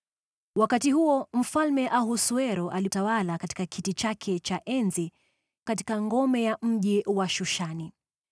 Wakati huo Mfalme Ahasuero alitawala katika kiti chake cha enzi katika ngome ya mji wa Shushani.